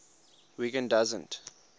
wiggin doesn t